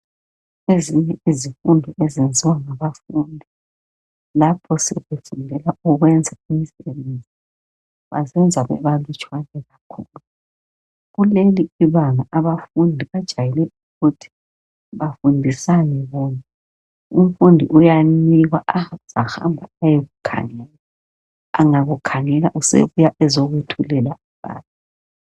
Ezinye izifundo ezenziwa ngabafundi lapho sebefundela ukwenza imisebenzi bazenza bebalutshwane kakhulu. Kuleli ibanga bafundi bajayele ukuthi bafundisane bona. Umfundi uyanikwa azahamba ayekukhangela angakukhangela sebuya eziyethulela abanye.